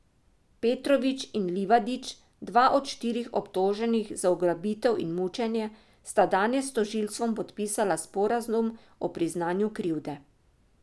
Petrović in Livadić, dva od štirih obtoženih za ugrabitev in mučenje, sta danes s tožilstvom podpisala sporazum o priznanju krivde.